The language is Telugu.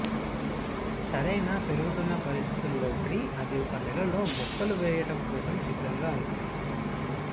సరైన పెరుగుతున్న పరిస్థితులు లోబడి అది ఒక నెల లో మొక్కలు వేయుటకు కోసం సిద్ధంగా ఉంటుంది